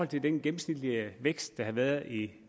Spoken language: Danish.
til den gennemsnitlige vækst der har været i